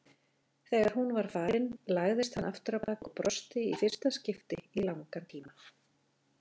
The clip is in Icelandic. Þegar hún var farin lagðist hann afturábak og brosti í fyrsta skipti í langan tíma.